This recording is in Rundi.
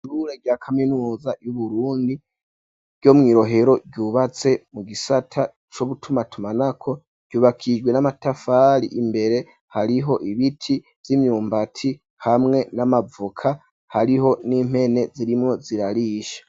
Ishure rya kaminuza y'Uburundi ryo mw'i Rohero, ryubatse mu gisata co gutumatumanako, ryubakijwe n'amatafari, imbere hariho ibiti vy'imyumbatihamwe n'amavoka, hariho n'impene zirimwo zirarisha.